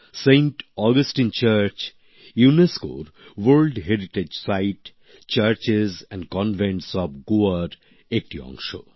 Saint Augustine গির্জা ইউনেস্কোর world heritage site churches and convent of গোয়ার একটি অংশ